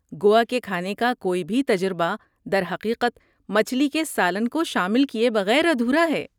گوا کے کھانے کا کوئی بھی تجربہ درحقیقت، مچھلی کے سالن کو شامل کیے بغیر ادھورا ہے۔